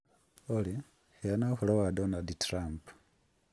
Olly, heana ũhoro wa Donald Trump.